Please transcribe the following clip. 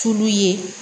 Tulu ye